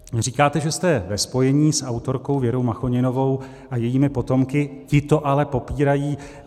Říkáte, že jste ve spojení s autorkou Věrou Machoninovou a jejími potomky, ti to ale popírají.